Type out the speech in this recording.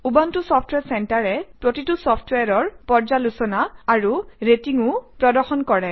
Ubuntu software চেণ্টাৰে প্ৰতিটো চফট্ৱেৰৰ পৰ্যালোচনা আৰু ৰেটিংও প্ৰদৰ্শন কৰে